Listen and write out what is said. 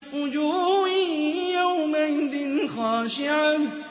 وُجُوهٌ يَوْمَئِذٍ خَاشِعَةٌ